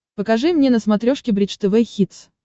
покажи мне на смотрешке бридж тв хитс